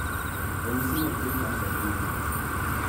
. Ranyisi mag tuo kansa gin ang'o?